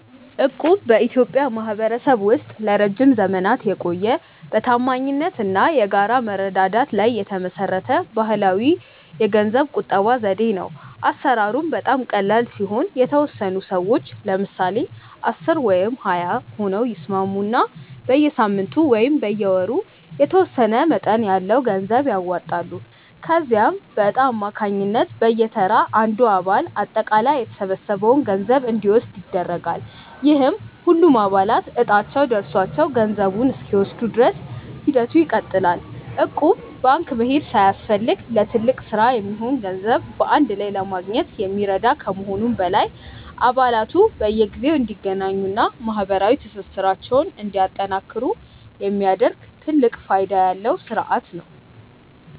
እቁብ በኢትዮጵያ ማኅበረሰብ ውስጥ ለረጅም ዘመናት የቆየ፣ በታማኝነት እና በጋራ መረዳዳት ላይ የተመሠረተ ባሕላዊ የገንዘብ ቁጠባ ዘዴ ነው። አሠራሩም በጣም ቀላል ሲሆን፤ የተወሰኑ ሰዎች (ለምሳሌ 10 ወይም 20 ሆነው) ይስማሙና በየሳምንቱ ወይም በየወሩ የተወሰነ መጠን ያለው ገንዘብ ያዋጣሉ። ከዚያም በዕጣ አማካኝነት በየተራ አንዱ አባል አጠቃላይ የተሰበሰበውን ገንዘብ እንዲወስድ ይደረጋል፤ ይህም ሁሉም አባላት ዕጣቸው ደርሷቸው ገንዘቡን እስኪወስዱ ድረስ ሂደቱ ይቀጥላል። እቁብ ባንክ መሄድ ሳያስፈልግ ለትልቅ ሥራ የሚሆን ገንዘብ በአንድ ላይ ለማግኘት የሚረዳ ከመሆኑም በላይ፣ አባላቱ በየጊዜው እንዲገናኙና ማኅበራዊ ትስስራቸውን እንዲያጠናክሩ የሚያደርግ ትልቅ ፋይዳ ያለው ሥርዓት ነው።